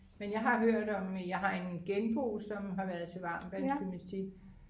men jeg har hørt om jeg har en genbo som har været til varmtvandsgymnastik